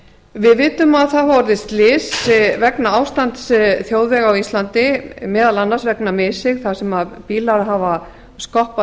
við vitum að það hafa orðið slys vegna ástands þjóðvega á íslandi meðal annars vegna missigs þar sem bílar hafa skoppað